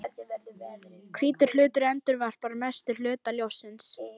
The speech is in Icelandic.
Hvítur hlutur endurvarpar mestum hluta ljóssins.